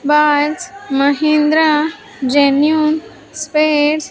mahindra genuine spares --